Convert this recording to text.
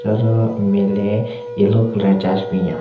Hiaro nme le yellow colour chashyu binyon.